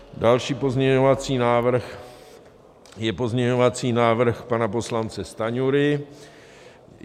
Další pozměňovací návrh je pozměňovací návrh pana poslance Stanjury.